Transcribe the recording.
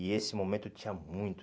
E esse momento tinha muito.